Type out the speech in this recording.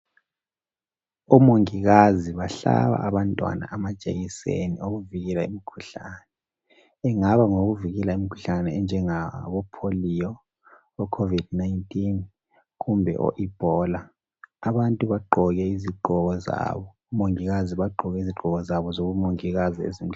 Omongikazi bahlaba abantwana amajekiseni okuvikela imikhuhlane, ingaba ngeyokuvikela imikhuhlane enjengabo pholiyo, okhovidi 19 kumbe o ibhola, abantu bagqoke izigqoko zabo. Omongikazi bagqoke izigqoko zabo zobumongikazi ezimhlophe.